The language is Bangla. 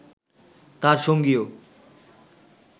তার সঙ্গীও